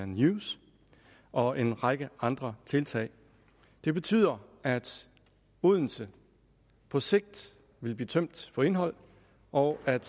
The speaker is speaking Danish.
news og en række andre tiltag det betyder at odense på sigt vil blive tømt for indhold og at